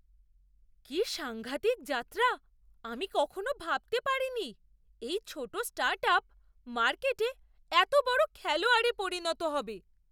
কী সাংঘাতিক যাত্রা! আমি কখনও ভাবতে পারিনি এই ছোট স্টার্টআপ মার্কেটে এত বড় খেলোয়াড়ে পরিণত হবে।